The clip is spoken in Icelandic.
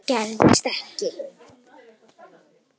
Það gerðist ekki.